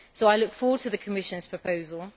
I look forward to the Commission's proposal.